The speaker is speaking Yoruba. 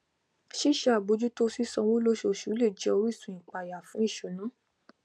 ṣíṣe àbójútó sì sanwó lóṣooṣù lè jẹ orísun ìpayà fún ìṣúná